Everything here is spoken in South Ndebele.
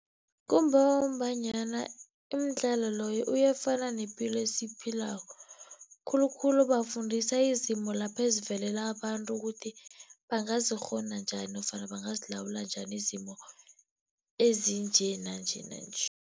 Kungombanyana umdlalo loyo uyafana nepilo esiyiphilako, khulukhulu bafundisa izimo lapha ezivelela abantu kuthi bangazikghona njani nofana bangazilawula njani izimo ezinje nanje, nanje.